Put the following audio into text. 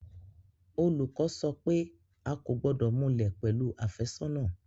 Olùkọ́ sọ pé a kò gbọ́dọ̀ múlẹ̀ pẹ̀lú àfẹ́sọ́nà